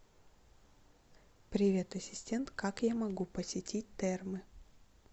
привет ассистент как я могу посетить термы